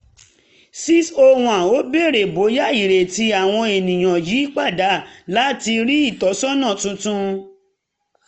601 ó béèrè bóyá ìrètí àwọn ènìyàn yí padà látàrí ìtọ́sọ́nà tuntun